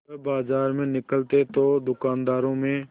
वह बाजार में निकलते तो दूकानदारों में